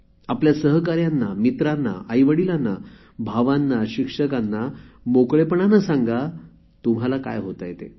आपल्या सहकाऱ्यांना मित्रांना आईवडीलांना भावांना शिक्षकांना मोकळेपणाने सांगा तुम्हाला काय होतेय ते